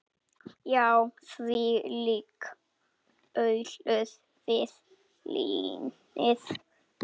Já, þvílík alúð við línið.